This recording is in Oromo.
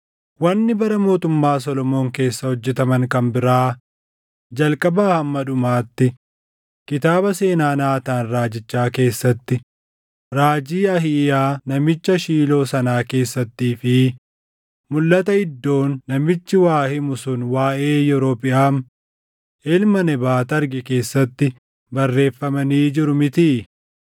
Wanni bara mootummaa Solomoon keessa hojjetaman kan biraa, jalqabaa hamma dhumaatti kitaaba seenaa Naataan raajichaa keessatti, raajii Ahiiyaa namicha Shiiloo sanaa keessattii fi mulʼata Iddoon namichi waa himu sun waaʼee Yerobiʼaam ilma Nebaat arge keessatti barreeffamanii jiru mitii?